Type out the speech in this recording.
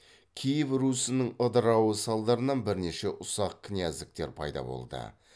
киев русінің ыдырауы салдарынан бірнеше ұсақ князьдіктер пайда болды